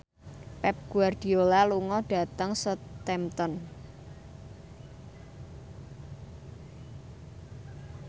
Pep Guardiola lunga dhateng Southampton